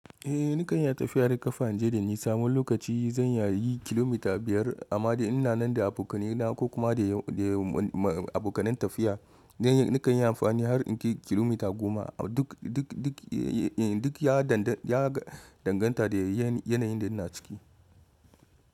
Eh nakan iya tafiya da ƙafa inje da nisa, wani lokaci zan iya yin kilomita biyar amma da ina nan da abokanai na ko kuma da abokanai tafiya nakan yi amfani har in kai kilomita goma duk ya danganta da yanayin da ina ciki.